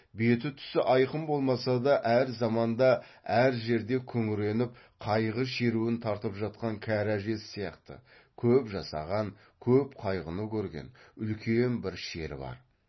беті түсі айқын болмаса да әр заманда әр жерде күңіреніп қайғы шеруін тартып жатқан кәрі әжесі сияқты көп жасаған көп қайғыны көрген үлкен бір шері бар